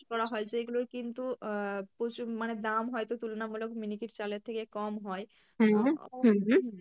করা হয়, যেইগুলোর কিন্তু আহ প্রচুর মানে দাম হয়তো তুলনামূলক miniket চালের থেকে কম হয়, আহ